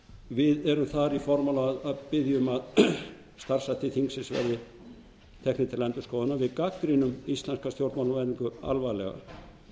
við erum þar í formála að biðja um að starfshættir þingsins verði teknir til endurskoðunar við gagnrýnum íslenska stjórnmálamenningu alvarlega